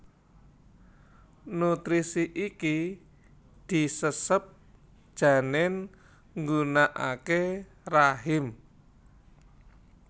Nutrisi iki disesep janin nggunakaké rahim